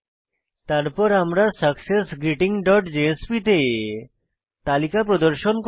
তারপর আমরা successgreetingজেএসপি তে তালিকা প্রদর্শন করব